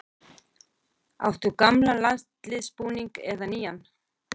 Áttu gamlan landsliðsbúning, eða nýjan?